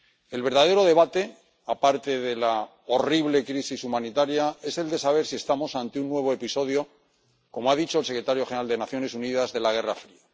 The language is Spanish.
El verdadero debate, aparte de la horrible crisis humanitaria, es el de saber si estamos ante un nuevo episodio como ha dicho el secretario general de Naciones Unidas de la Guerra Fría.